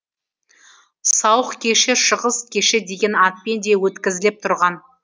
сауық кеші шығыс кеші деген атпен де өткізіліп тұрған